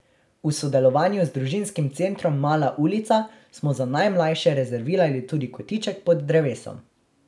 V sodelovanju z družinskim centrom Mala ulica smo za najmlajše rezervirali tudi kotiček pod drevesom.